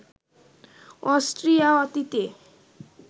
Austria অতীতে